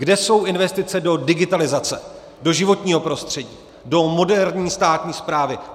Kde jsou investice do digitalizace, do životního prostředí, do moderní státní správy?